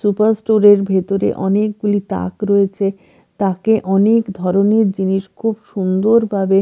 super store -এর ভেতরে অনেকগুলি তাক রয়েছে তাকে অনেক ধরনের জিনিস খুব সুন্দরভাবে--